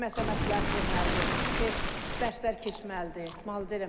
Kimsə məsləhət verməlidir, psixi dərsər keçməlidir, müalicə eləməlidir.